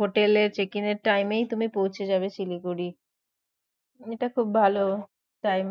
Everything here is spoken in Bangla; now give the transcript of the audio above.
হোটেলের check in এর time এই তুমি পৌঁছে যাবে শিলিগুড়ি এটা খুব ভালো time